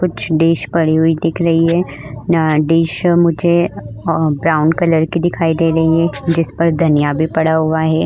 कुछ डीश पड़ी हुई दिख रही है यहाँ डीश मुझे अ ब्राउन कलर की दिखाई दे रही है जिसपर धनिया भी पड़ा हुआ है।